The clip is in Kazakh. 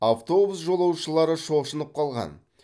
автобус жолаушылары шошынып қалған